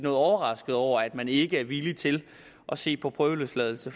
overraskede over at man ikke er villig til at se på prøveløsladelse